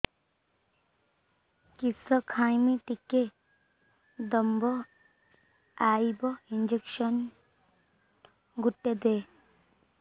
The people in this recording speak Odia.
କିସ ଖାଇମି ଟିକେ ଦମ୍ଭ ଆଇବ ଇଞ୍ଜେକସନ ଗୁଟେ ଦେ